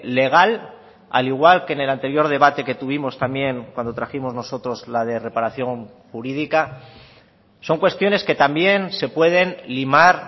legal al igual que en el anterior debate que tuvimos también cuando trajimos nosotros la de reparación jurídica son cuestiones que también se pueden limar